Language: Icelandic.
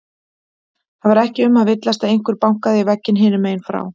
Það var ekki um að villast, einhver bankaði í vegginn hinum megin frá.